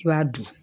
I b'a dun